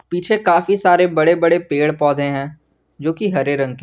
पीछे काफी सारे बड़े बड़े पेड़ पौधे हैं जो की हरे रंग के हैं।